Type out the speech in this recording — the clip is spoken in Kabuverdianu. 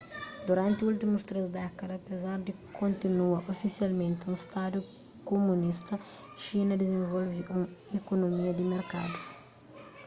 duranti últimus três dékada apezar di kontinua ofisialmenti un stadu kumunista xina dizenvolve un ikunomia di merkadu